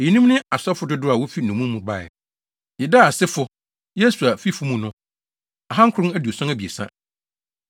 Eyinom ne asɔfo dodow a wofi nnommum mu bae: 1 Yedaia asefo (Yesua fifo mu no) 2 973 1